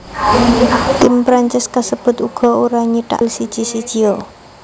Tim Prancis kasebut uga ora nyithak gol siji sijia